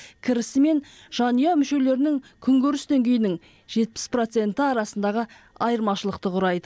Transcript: кірісі мен жанұя мүшелерінің күнкөріс деңгейінің жетпіс проценті арасындағы айырмашылықты құрайды